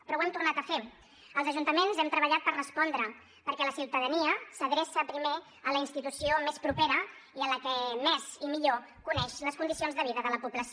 però ho hem tornat a fer els ajuntaments hem treballat per respondre perquè la ciutadania s’adreçà primer a la institució més propera i a la que més i millor coneix les condicions de vida de la població